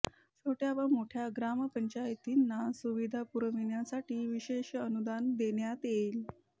छोट्या व मोठ्या ग्रामपंचायतींना सुविधा पुरविण्यासाठी विशेष अनुदान देण्यात येईल